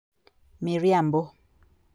Miriambo